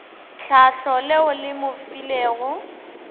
tlhahlo leo le mo filego